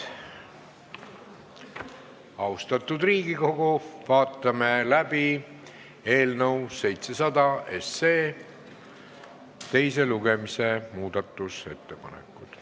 Austatud Riigikogu, vaatame läbi eelnõu 700 teise lugemise muudatusettepanekud.